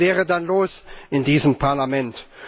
Was wäre dann los in diesem Parlament?